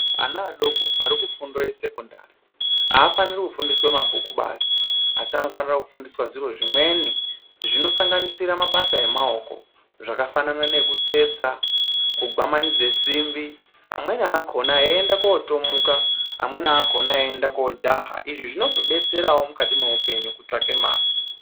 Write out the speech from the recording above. Ana adoko ari kufundo yesekondari hafaniri kufundiswa mabhuku basi. Asi anofanira kufundiswa zviro zvimweni zvinosanganisira mabasa emaoko zvakafanana nekutsetsa, kugwamanidze simbi. Amweni akona eienda kotomuka amweni akona eienda kojaha. Izvi zvinozobetseravo mukati meupenyu kotsange mare.